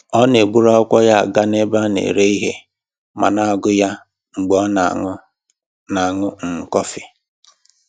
Ọ na-eburu akwụkwọ ya gaa n'ebe a na-ere ihe ma na-agụ ya mgbe ọ na-aṅụ na-aṅụ um kọfị